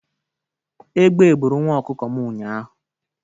Egbe bụrụ nwa ọkụkọ m ụnyaahụ